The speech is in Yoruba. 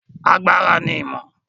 Agbára ni ìmọ̀.